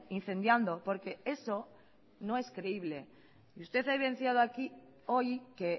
incendiando porque eso no es creíble y usted ha evidenciado hoy que